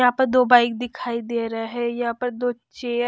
यहां पर दो बाइक दिखाई दे रहे हैं यहां पर दो चेयर --